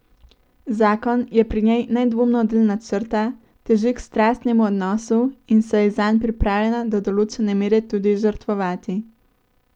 Zakon je pri njej nedvomno del načrta, teži k strastnemu odnosu in se je zanj pripravljena do določene mere tudi žrtvovati.